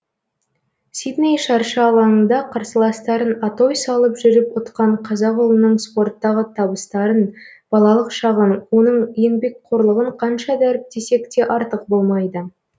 сидней шаршы алаңында қарсыластарын атой салып жүріп ұтқан қазақ ұлының спорттағы табыстарын балалық шағын оның еңбекқорлығын қанша дәріптесек те артық болмайды